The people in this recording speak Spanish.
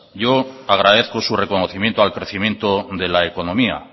yo agradezco su reconocimiento al crecimiento de la economía